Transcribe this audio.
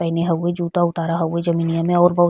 पहिने हउवे जूता उतारा हउवे जमीनिया में और बहु --